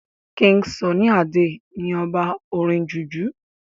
king sunny Ade ní ọba orin jùjú